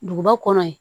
Duguba kɔnɔ yen